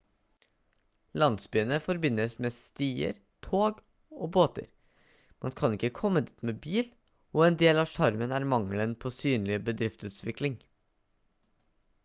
landsbyene forbindes med stier tog og båter man kan ikke komme dit med bil og en del av sjarmen er mangelen på synlig bedriftsutvikling